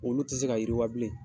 Olu tɛ se ka yiriwabilen